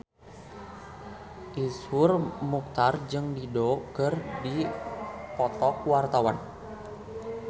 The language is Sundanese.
Iszur Muchtar jeung Dido keur dipoto ku wartawan